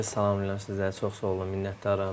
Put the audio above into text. Məndə ki, salamlayıram sizləri, çox sağ olun, minnətdaram.